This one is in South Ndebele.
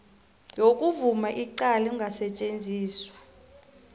yokuvuma icala engasetjenziswa